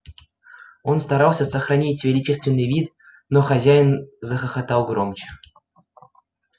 он старался сохранить величественный вид но хозяин захохотал громче